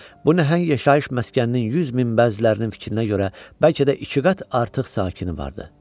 Bu nəhəng yaşayış məskəninin 100 min bəzlərinin fikrinə görə, bəlkə də iki qat artıq sakini vardı.